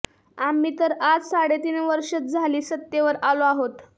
आम्ही तर आज साडेतीन वर्षेच झाली सत्तेवर आलो आहोत